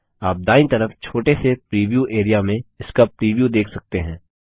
आप दायीं तरफ छोटे से प्रीव्यू एरिया में इसका प्रीव्यू देख सकते हैं